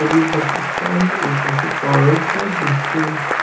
और ये bus stand ऊपर से कवर्ड है जिससे--